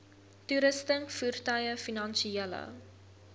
toerusting voertuie finansiële